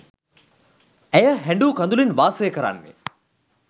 ඇය හැඬු කඳුළෙන් වාසය කරන්නේ.